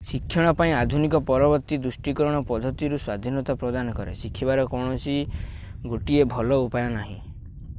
ଶିକ୍ଷଣ ପାଇଁ ଆଧୁନିକ ପରବର୍ତ୍ତୀ ଦୃଷ୍ଟିକୋଣ ପଦ୍ଧତି ରୁ ସ୍ୱାଧୀନତା ପ୍ରଦାନ କରେ ଶିଖିବାର କୌଣସି 1 ଭଲ ଉପାୟ ନାହିଁ